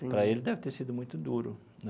Para ele deve ter sido muito duro, né?